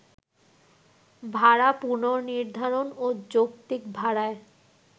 ভাড়া পুনর্নির্ধারণ ও যৌক্তিক ভাড়ায়